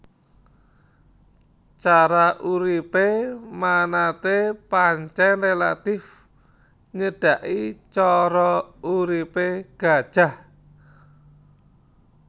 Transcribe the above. Cara uripé manatee pancèn rélatif nyedhaki cara uripé gajah